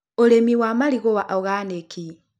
ũrĩmi wa marigũ wa oganiki.